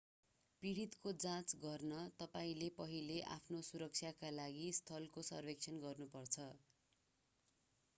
पीडितको जाँच गर्न तपाईंले पहिले आफ्नो सुरक्षाका लागि स्थलको सर्वेक्षण गर्नुपर्छ